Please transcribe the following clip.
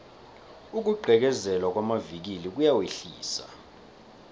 ukugqekezelwa kwamavikili kuyawehlisa